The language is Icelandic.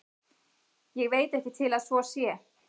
Ég veit ekki til að svo sé.